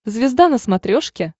звезда на смотрешке